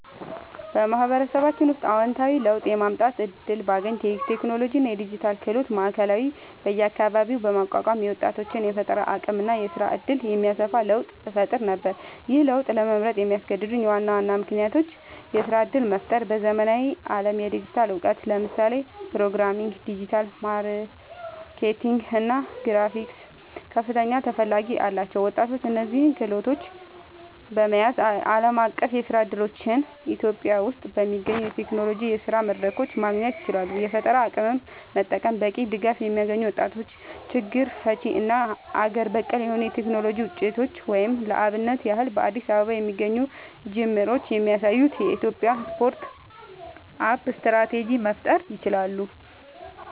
በማህበረሰባችን ውስጥ አወንታዊ ለውጥ የማምጣት እድል ባገኝ፣ የቴክኖሎጂ እና የዲጂታል ክህሎት ማዕከላት በየአካባቢው በማቋቋም የወጣቶችን የፈጠራ አቅም እና የስራ እድል የሚያሰፋ ለውጥ እፈጥር ነበር። ይህን ለውጥ ለመምረጥ ያስገደዱኝ ዋና ዋና ምክንያቶች -የስራ እድል መፍጠር በዘመናዊው ዓለም የዲጂታል እውቀት (ለምሳሌ ፕሮግራሚንግ፣ ዲጂታል ማርኬቲንግ እና ግራፊክስ) ከፍተኛ ተፈላጊነት አላቸው። ወጣቶች እነዚህን ክህሎቶች በመያዝ ዓለም አቀፍ የስራ እድሎችን [ኢትዮጵያ ውስጥ በሚገኙ የቴክኖሎጂ የስራ መድረኮች] ማግኘት ይችላሉ። የፈጠራ አቅምን መጠቀም በቂ ድጋፍ የሚያገኙ ወጣቶች ችግር ፈቺ እና አገር በቀል የሆኑ የቴክኖሎጂ ውጤቶችን (ለአብነት ያህል በአዲስ አበባ የሚገኙ ጅምሮች የሚያሳዩትን [የኢትዮጵያ ስታርት አፕ ስትራቴጂ]) መፍጠር ይችላሉ።